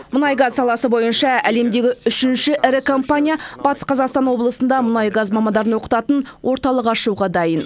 мұнай газ саласы бойынша әлемдегі үшінші ірі компания батыс қазақстан облысында мұнай газ мамандарын оқытатын орталық ашуға дайын